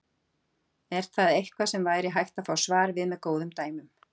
Er það eitthvað sem væri hægt að fá svar við með góðum dæmum.